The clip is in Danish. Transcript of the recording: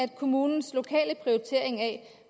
i kommunens lokale prioritering af